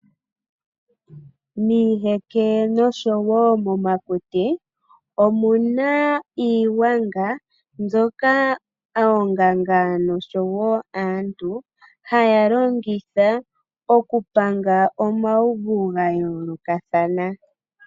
Miiheke nosho wo momakuti, omu na iigwanga, mbyoka oonganga nosho wo aantu haya longitha oku panga omauvu ga yoolokathana.